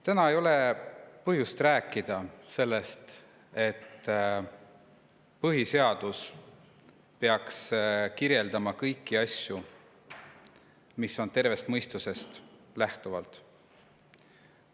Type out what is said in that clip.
Täna ei ole põhjust rääkida sellest, et põhiseadus peaks kirjeldama kõiki asju, mille puhul peaks lähtuma tervest mõistusest.